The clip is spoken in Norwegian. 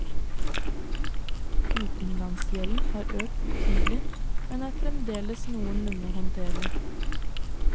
Utenlandsgjelden har økt betydelig, men er fremdeles noenlunde håndterlig.